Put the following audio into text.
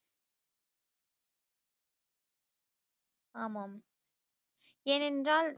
ஆமாம் ஏனென்றால்